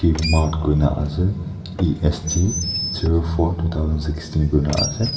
mart koina ase est koina ase.